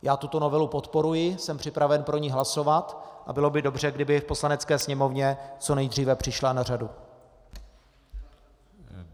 Já tuto novelu podporuji, jsem připraven pro ni hlasovat a bylo by dobře, kdyby v Poslanecké sněmovně co nejdříve přišla na řadu.